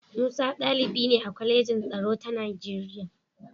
Musa ɗalibi ne a Kwalejin Tsaro ta Nigeriya.